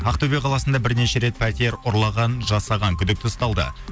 ақтөбе қаласында бірнеше рет пәтер ұрлаған жасаған күдікті ұсталды